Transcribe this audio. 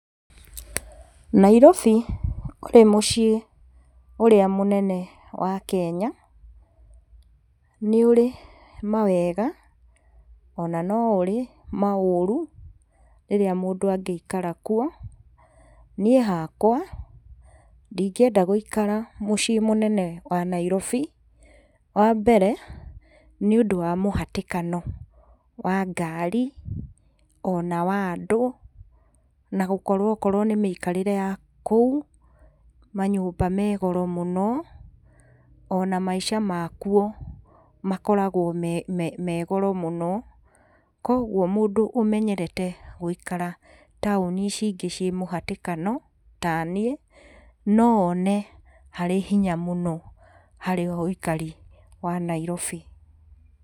Nairobi ũrĩ mũciĩ ũrĩa mũnene wa Kenya nĩ ũri mawega ona no ũri maũrũ rĩrĩa mũndũ angĩikira kuo. Niĩ hakwa ndingĩenda gũikara mũciĩ mũnene wa Nairobi. Wambere nĩ ũndũ wa mũhatĩkano wa ngari ona wa andũ. Na gũkorwo okorwo nĩ mĩkarĩre yakũu manyũmba megoro mũno. Ona maica makwo makoragwo megoro mũno. Kogwo mũndũ ũmenyerete gũikara taoni ici ingĩ ciĩ mũhatĩkano taniĩ no one harĩ hinya mũno harĩ wĩikari wa Nairobi.